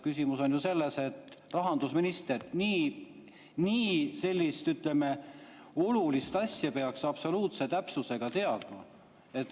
Küsimus on ju selles, et rahandusminister, sellist, ütleme, olulist asja peaks absoluutse täpsusega teadma.